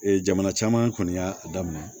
Ee jamana caman kɔni y'a daminɛ